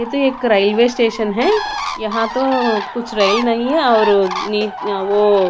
ये तो एक रेलवे स्टेशन है यहाँ तो कुछ रेल नहीं है और ओ--